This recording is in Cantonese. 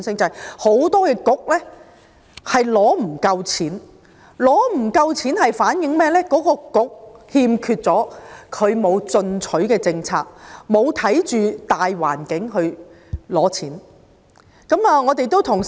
因為很多政策局沒有足夠撥款，反映有關政策局欠缺進取的政策，沒有因應大環境來申領撥款。